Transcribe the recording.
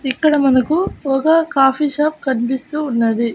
ఇక్కడ మనకు ఒక కాఫీ షాప్ కనిపిస్తూ ఉన్నది.